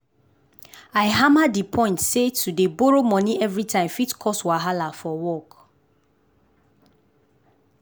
i hammer di point say to dey borrow money everytime fit cause wahala for work.